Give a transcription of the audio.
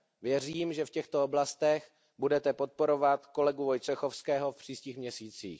Věřím, že v těchto oblastech budete podporovat kolegu Wojciechowského v příštích měsících.